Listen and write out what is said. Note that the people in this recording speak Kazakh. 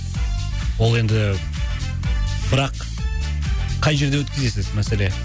ол енді бірақ қай жерде өткізесіз мәселе